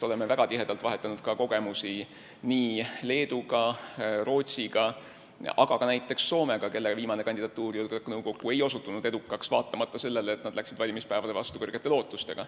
Oleme väga tihedalt vahetanud kogemusi Leedu ja Rootsiga, aga ka näiteks Soomega, kelle viimane kandidatuur julgeolekunõukokku ei osutunud edukaks, vaatamata sellele, et nad läksid valimispäevale vastu kõrgete lootustega.